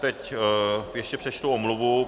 Teď ještě přečtu omluvu.